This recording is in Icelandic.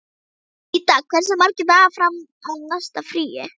Ríta, hversu margir dagar fram að næsta fríi?